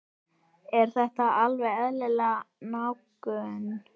Er þetta alveg eðlileg nálgun?